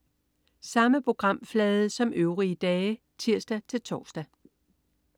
Samme programflade som øvrige dage (tirs-tors)